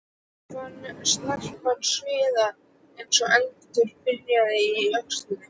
Hann fann snarpan sviða eins og eldur brynni í öxlinni.